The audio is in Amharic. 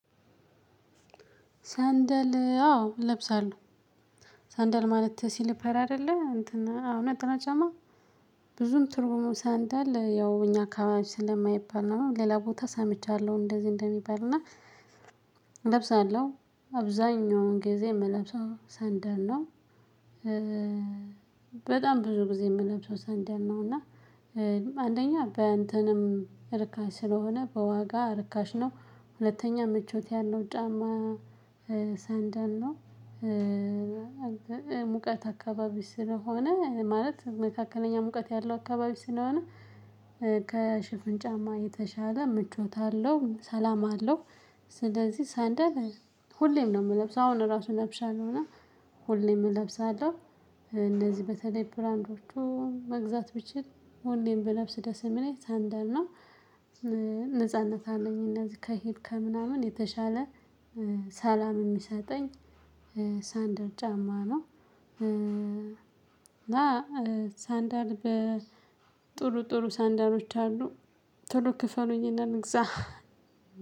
ሰንደል አዎ እለብሳለሁ ሰንደል ማለት ሲልፐር አይደለ እንትን አዎ ነጠላ ጫማ። ብዙን ትርጉሙ ሳንደል ያው እኛ አካባቢ ስለማይባል ነው ሌላ ቦታ ሰምቻለሁ እንደዚህ እንደሚባልና እለብሳለሁ አብዛኛውን ጊዜ የምለብሰው ሰንደል ነው። በጣም ብዙ ጊዜ የምለብሰው ሰንደል ነው እና አንደኛ በአንተንም ርካሽ ስለሆነ በዋጋ ርካሽ ነው ሁለተኛ ምቾት ያለው ጫማ ሰንደል ነው። ሙቀት አካባቢ ስለሆነ ማለት መካከለኛ ሙቀት ያለው አካባቢ ስለሆነ ከሸፍን ጫማ የተሻለ ምቾት አለው ሰላም አለው። ስለዚህ ሳንደል ሁሌም ነው የምለብሰው አሁን ራሱን ለብሻለሁ እና ሁሌም እለብሳለሁ። እነዚህ በተለይ ብራንዶቹ መግዛት ብችል ሁሌም ብለብስ ደስ የሚለኝ ሰንደር ነው። ነጻነት አለኝ እነዚህ ከሄድከ ምናምን የተሻለ ሰላም የሚሰጠኝ ሳንዳር ጫማ ነው። እና ሳንዳር በጥሩ ጥሩ ሳንዳሮች አሉ ቶሎ ክፈሉኝና ልግዛ።